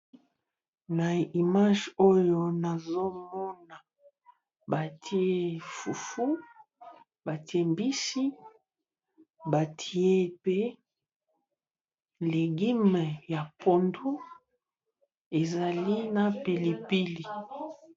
Na image oyo nazo mona batie fufu, batie mbisi, batie pe légume ya pondu, ezali na pili pili.